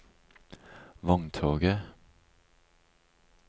vogntoget